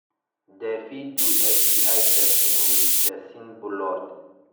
dem fit do sti testing with person blood